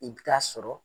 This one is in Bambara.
I bɛ taa sɔrɔ